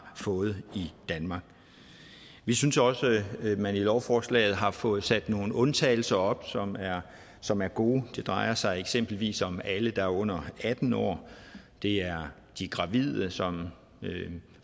fået i danmark vi synes også at man i lovforslaget har fået sat nogle undtagelser op som er som er gode det drejer sig eksempelvis om alle der er under atten år det er de gravide som